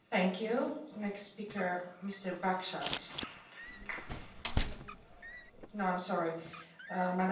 We zijn nog driftig in de weer met de Turkije deal en vandaag spreken we alweer over een nieuwe deal, een deal met landen in Afrika.